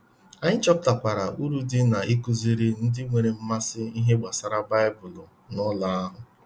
Anyị chọpụtakwara uru dị n'ịkụziri ndị nwere mmasị ihe gbasara Baịbụl n'ụlọ ha.